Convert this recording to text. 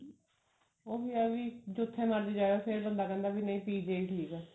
ਉਹੀ ਹੈ ਵੀ ਜਿੱਥੇ ਮਰਜੀ ਜਾ ਆਏ ਫੇਰ ਬੰਦਾ ਕਹਿੰਦਾ ਵੀ ਨਹੀਂ PGI ਠੀਕ ਹੈ